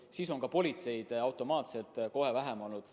Ja siis on ka politseid automaatselt kohe vähem olnud.